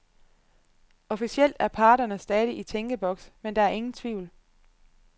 Officielt er parterne stadig i tænkeboks, men der er ingen tvivl.